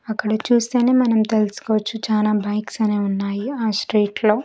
అక్కడ చూస్తేనే మనం తెలుసుకోవచ్చు చానా బైక్స్ అనేవి ఉన్నాయి ఆ స్ట్రీట్ లో .